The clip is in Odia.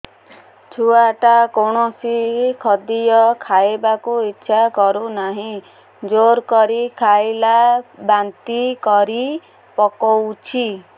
ଛୁଆ ଟା କୌଣସି ଖଦୀୟ ଖାଇବାକୁ ଈଛା କରୁନାହିଁ ଜୋର କରି ଖାଇଲା ବାନ୍ତି କରି ପକଉଛି